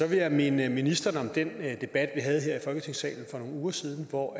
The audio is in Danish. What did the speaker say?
vil jeg minde ministeren om den debat havde her i folketingssalen for nogle uger siden hvor